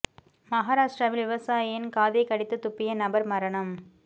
மகாராஷ்டிராவில் விவசாயியின் காதை கடித்து துப்பிய நபர் மரணம்